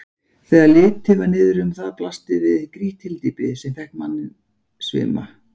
Þegar litið var niðrum það blasti við grýtt hyldýpi, sem fékk manni svima.